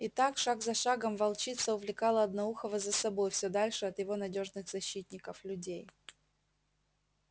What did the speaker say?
и так шаг за шагом волчица увлекала одноухого за собой всё дальше от его надёжных защитников людей